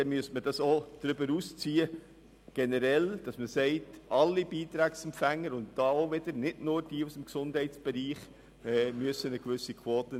Will man dies tun, müsste man diese generell auf alle Beitragsempfänger und nicht nur auf Organisationen im Gesundheitsbereich anwenden.